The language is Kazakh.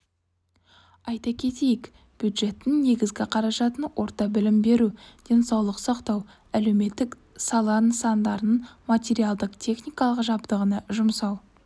айта кетейік бюджеттің негізгі қаражатын орта білім беру денсаулық сақтау әлеуметтік сала нысандарының материалдық-техникалық жабдығына жұмсау